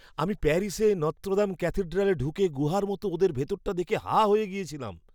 আমি প্যারিসে নত্রোদাম ক্যাথেড্রালে ঢুকে গুহার মতন ওদের ভিতরটা দেখে হাঁ হয়ে গেছিলাম!